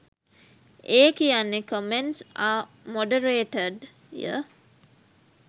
ඒ කියන්නේ කමෙන්ට්ස් ආ මොඩරේටඩ්ය